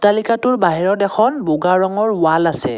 অট্টালিকাটোৰ বাহিৰত এখন বগা ৰঙৰ ৱাল আছে।